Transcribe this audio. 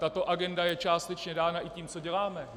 Tato agenda je částečně dána i tím, co děláme.